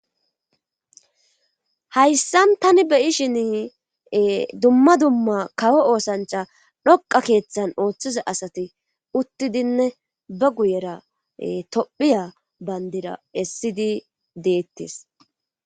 Hayssa tani beyishin dumma dumma kawo oosancha dhoqa keeththan ooththiza asati uttidinne ba guyera tophiya bayndira essidi deettis.